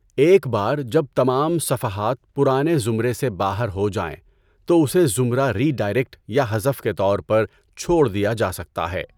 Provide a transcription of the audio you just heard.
ایک بار جب تمام صفحات پرانے زمرے سے باہر ہو جائیں تو اسے زمرہ ری ڈائریکٹ یا حذف کے طور پر چھوڑ دیا جا سکتا ہے۔